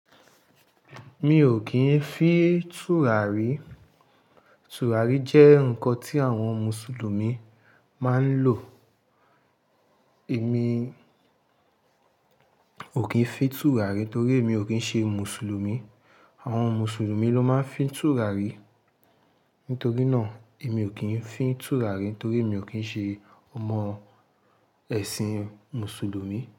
Mi ò kín fí tùràrí. Tùràrí jẹ́ ǹkan tí àwọn Mùsùlùmí máa ń lò. Èmi ò kín fín tùràrí torí èmi ò kín ṣe Mùsùlùmí. Àwọn Mùsùlùmí ló máa ń fí tùràrí. Nítorí náà, èmi ò kín fí tùràrí torí èmi ò kín ṣe ọmọ ẹ̀sìn Mùsùlùmí.